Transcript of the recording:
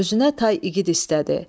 Özünə tay igid istədi.